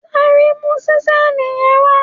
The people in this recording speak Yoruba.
Sáré mu ṣísẹ́ẹ̀lì yẹn wá!